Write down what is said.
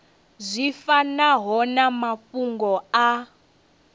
zwi fanaho na mafhungo a